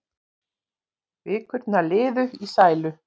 Vikurnar liðu í sælu.